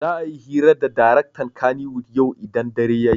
Za'a yi hira da daraktan kannywood yau idan dare ya yi.